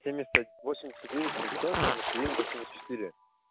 семьдесят пять восемьдесят девять семьсот семьдесят три восемьдесят четыре